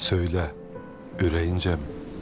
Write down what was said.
Söylə ürəyincəmi?